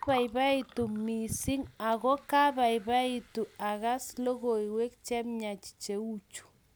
Kabaibaitu missing ako kabaibaitu akas logoiwek che miach cheuchu